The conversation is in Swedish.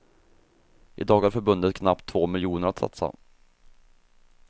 I dag har förbundet knappt två miljoner att satsa.